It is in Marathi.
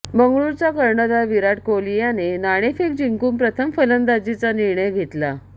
बंगळुरूचा कर्णधार विराट कोहली याने नाणेफेक जिंकून प्रथम फलंदाजीचा निर्णय घेतला